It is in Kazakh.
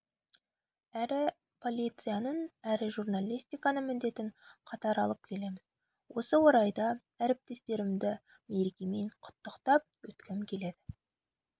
әрі полицияның әрі журналистиканың міндетін қатар алып келеміз осы орайда әріптестерімді мерекемен құттықтап өткім келеді